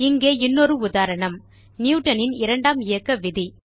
இங்கே இன்னொரு உதாரணம்160 நியூட்டன் இன் இரண்டாம் இயக்க விதி